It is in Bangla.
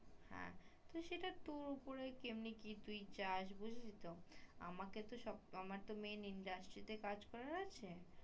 হ্যা সেটা তোর উপরে তুই কেমনে কি তুই চাস আমাকে তো সব আমাকে তো main industry কাজ করার আছে